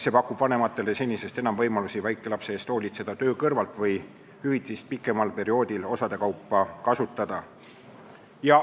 See pakub vanematele senisest enam võimalusi töö kõrvalt väikelapse eest hoolitseda või hüvitist pikema perioodi jooksul osade kaupa kasutada.